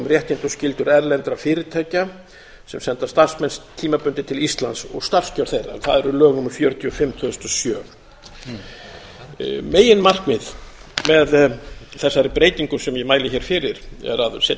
réttindi og skyldur erlendra fyrirtækja sem senda starfsmenn tímabundið til íslands og starfskjör þeirra það eru lög númer fjörutíu og fimm tvö þúsund og sjö meginmarkmið með þessari breytingu sem ég mæli hér fyrir er að setja